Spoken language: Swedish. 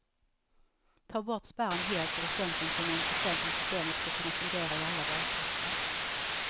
Ta bort spärren helt eller sänk den till någon procent om systemet skall kunna fungera i alla valkretsar.